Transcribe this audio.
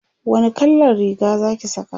wani kallan Riga Zaki Saka?